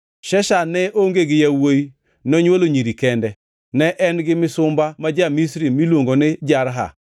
Sheshan ne onge gi yawuowi, nonywolo nyiri kende. Ne en gi misumba ma ja-Misri miluongo ni Jarha.